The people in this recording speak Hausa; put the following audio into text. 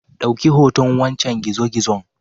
Dauki hoton wancen gizo gizon